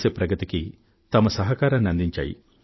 దేశ ప్రగతికి తమ సహకారాన్ని అందించాయి